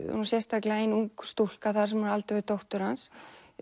er sérstaklega ung stúlka þar sem er á aldur við dóttur hans